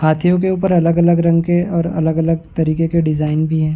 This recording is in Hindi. हाथियों के ऊपर अलग-अलग रंग के और अलग-अलग तरीके के डिज़ाइन भी हैं।